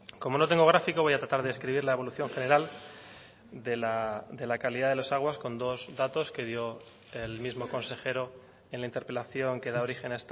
como no tengo gráfico voy a tratar de escribir la evolución general de la calidad de las aguas con dos datos que dio el mismo consejero en la interpelación que da origen